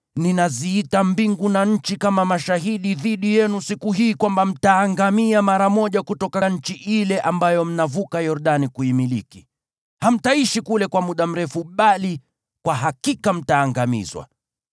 ninaziita mbingu na nchi kama mashahidi dhidi yenu siku hii kwamba mtaangamia mara moja kutoka nchi ile ambayo mnavuka Yordani kuimiliki. Hamtaishi kule kwa muda mrefu bali kwa hakika mtaangamizwa.